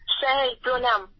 sir প্রণাম